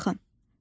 Baxın,